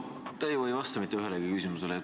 No te ju ei vasta mitte ühelegi küsimusele.